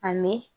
A mɛ